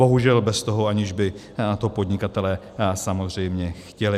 Bohužel bez toho, že by to podnikatelé samozřejmě chtěli.